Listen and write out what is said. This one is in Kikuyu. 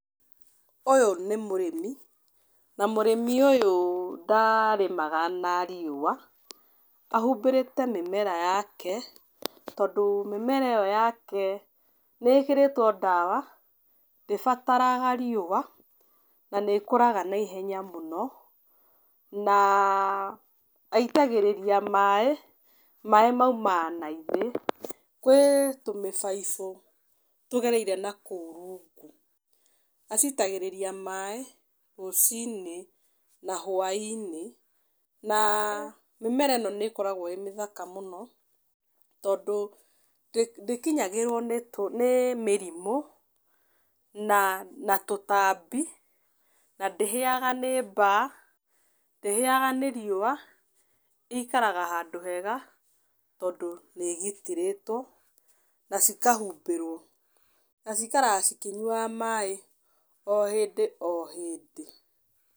Ũyũ nĩ mũrĩmi, na mũrĩmi ũyũ ndarĩmaga na riũa. Ahumbĩrĩte mĩmera yake, tondũ mĩmera ĩyo yake nĩ ĩkĩrĩtwo ndawa, ndĩbataraga riũa na nĩ ĩkũraga na ihenya mũno na aitagĩrĩrĩa maaĩ, maaĩ maumaga na thĩ kũrĩ tũmĩbaibũ tũgereire nakũu rungu. Acitagĩrĩria maaĩ rũci-inĩ na hwaĩ-inĩ, na mĩmera ĩno nĩ ĩkoragwo ĩrĩ mĩthaka mũno, tondũ ndĩkinyagĩrwo nĩ mĩrimũ, na tũtambi na ndĩhĩaga nĩ mbaa, ndĩhĩaga nĩ riũa, ĩikaraga handũ hega, tondũ nĩ ĩgitĩrĩtũo na cikahumbĩrwo na cikaraga ikĩnyuaga maaĩ o hĩndĩ o hĩndĩ.